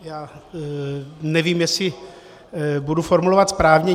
Já nevím, jestli budu formulovat správně.